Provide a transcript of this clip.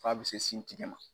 F'a bɛ se sin tigɛ ma.